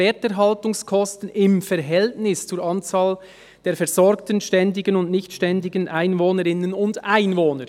«Werterhaltungskosten im Verhältnis zur Anzahl der versorgten ständigen und nicht ständigen Einwohnerinnen und Einwohner».